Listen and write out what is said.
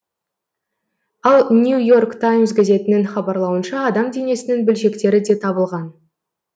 ал нью и орк таймс газетінің хабарлауынша адам денесінің бөлшектері де табылған